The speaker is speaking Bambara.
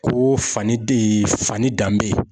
Ko fani de ye fani danbe ye.